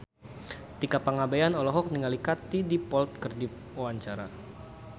Tika Pangabean olohok ningali Katie Dippold keur diwawancara